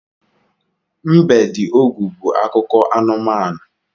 Mbediogu' bu akụkọ anumanu